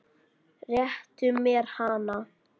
Réttu mér hana